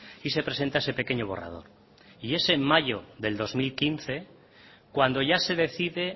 si se presenta ese pequeño borrador y es en mayo de dos mil quince cuando ya se decide